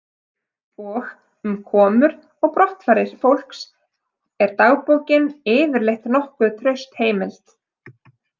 Og um komur og brottfarir fólks er dagbókin yfirleitt nokkuð traust heimild.